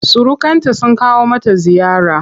Surukanta sun kawo mata ziyara.